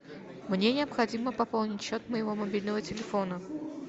мне необходимо пополнить счет моего мобильного телефона